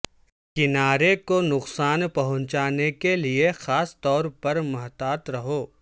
کنارے کو نقصان پہنچانے کے لئے خاص طور پر محتاط رہو